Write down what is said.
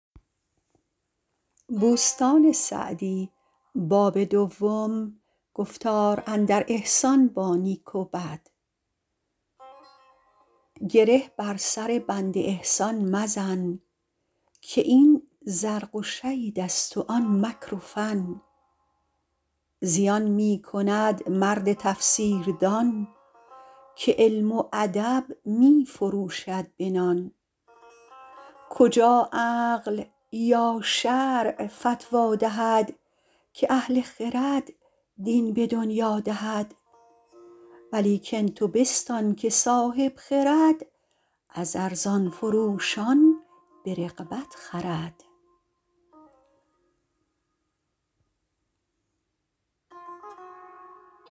گره بر سر بند احسان مزن که این زرق و شید است و آن مکر و فن زیان می کند مرد تفسیر دان که علم و ادب می فروشد به نان کجا عقل یا شرع فتوی دهد که اهل خرد دین به دنیا دهد ولیکن تو بستان که صاحب خرد از ارزان فروشان به رغبت خرد